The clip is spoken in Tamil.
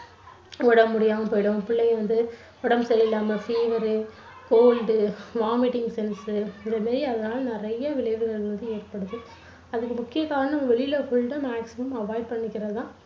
உடம்பு முடியாம போயிடும் பிள்ளைங்க வந்து உடம்பு சரியில்லாம fever, cold, vomiting sense உ இந்த மாதிரி ஏதாவது நிறைய விளைவுகள் வந்து ஏற்படுது. அதுக்கு முக்கிய காரணம் வெளியில food maximum avoid பண்ணிக்கிறது தான்.